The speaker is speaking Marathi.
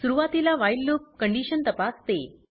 सुरवातीला व्हाईल लूप कंडीशन तपासते